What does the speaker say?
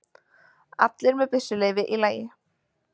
Allir með byssuleyfi í lagi